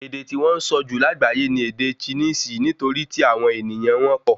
Èdè tí wọn sọ jù lágbayé ní ède Chinisi nitori tí àwọn ènìyàn wọn pọ